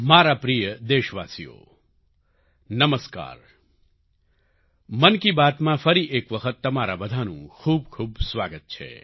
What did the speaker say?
મારા પ્રિય દેશવાસીઓ નમસ્કાર મન કી બાતમાં ફરી એક વખત તમારા બધાનું ખૂબખૂબ સ્વાગત છે